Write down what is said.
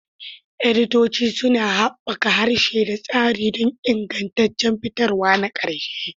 Editoci suna haɓaka harshe da tsari don ingantaccen fitarwa na ƙarshe.